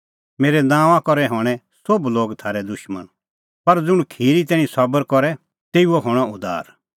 मेरै नांओंआं करै हणैं सोभ लोग थारै दुशमण पर ज़ुंण खिरी तैणीं सबर करे तेऊओ हणअ उद्धार